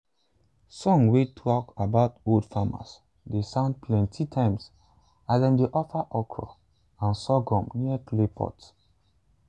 songs wey talk about old farmers dey sound plenty times as dem dey offer okra and sorghum near clay pot.